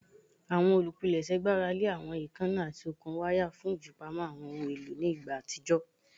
Awọn olupilẹṣẹ gbarale awọn eekanna ati okun waya fun ifipamo awọn ohun elo ni igba atijọ